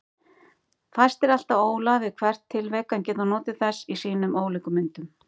Fæstir elta ólar við hvert tilvik en geta notið þess í sínum ólíku myndum.